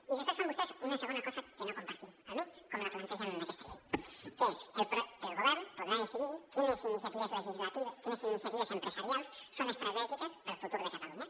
i després fan vostès una segona cosa que no compartim almenys com la plantegen en aquesta llei que és el govern podrà decidir quines iniciatives empresarials són estratègiques per al futur de catalunya